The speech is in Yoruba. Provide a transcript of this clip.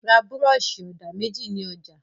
Ra búrọ́ṣì-ọ̀dà méjì ní ọjà!